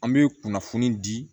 An bɛ kunnafoni di